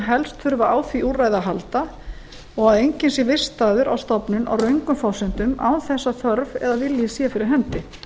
helst þurfa á því úrræði að halda og enginn sé vistaður á stofnun á röngum forsendum án þess að þörf eða vilji sé fyrir hendi